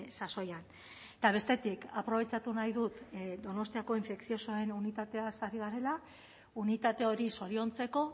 sasoian eta bestetik aprobetxatu nahi dut donostiako infekziosoen unitateaz are garela unitate hori zoriontzeko